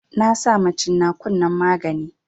Na sama cin nakun nan magani